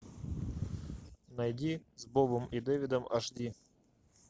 найди с бобом и дэвидом аш ди